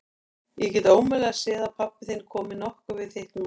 Ég get ómögulega séð að pabbi þinn komi nokkuð við þitt mál.